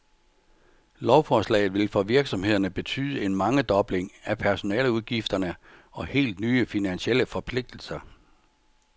Lovforslaget vil for virksomhederne betyde en mangedobling af personaleudgifterne og helt nye finansielle forpligtelser.